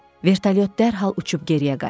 Vertolyot dərhal uçub geriyə qayıtdı.